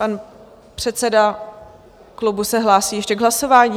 Pan předseda klubu se hlásí ještě k hlasování?